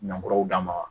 Nankuraw d'a ma